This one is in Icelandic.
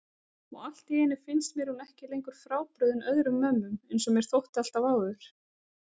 Og alltíeinu finnst mér hún ekki lengur frábrugðin öðrum mömmum einsog mér þótti alltaf áður.